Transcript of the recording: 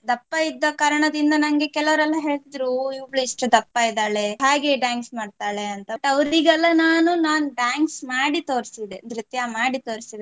ದಪ್ಪ ಇದ್ದ ಕಾರಣದಿಂದ ನಂಗೆ ಕೆಲವ್ರೆಲ್ಲ ಹೇಳ್ತಿದ್ರು ಓ~ ಇವಳು ಎಷ್ಟು ದಪ್ಪ ಇದ್ದಾಳೆ ಹ್ಯಾಗೆ dance ಮಾಡ್ತಾಳೆ ಅಂತ but ಅವರಿಗೆಲ್ಲ ನಾನು dance ಮಾಡಿ ತೋರ್ಸಿದ್ದೆ ನೃತ್ಯ ಮಾಡಿ ತೊರ್ಸಿದ್ದೆ.